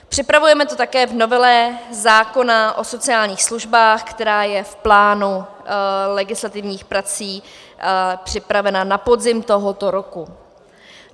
Připravujeme to také v novele zákona o sociálních službách, která je v plánu legislativních prací připravena na podzim tohoto roku.